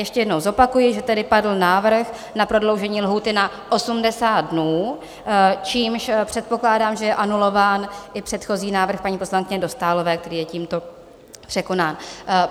Ještě jednou zopakuji, že tady padl návrh na prodloužení lhůty na 80 dnů, čímž předpokládám, že je anulován i předchozí návrh paní poslankyně Dostálové, který je tímto překonán.